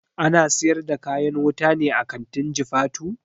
Ana siyar da kayan wuta ne a kantin jifatu?